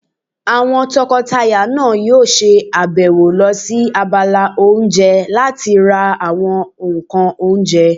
Àwọn tọkọtaya náà yóò ṣe àbẹ̀wò lọ sí abala oúnjẹ láti ra àwọn ǹkan oúnjẹ